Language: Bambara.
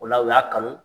O la u y'a kanu